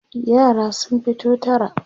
yara sun fito tara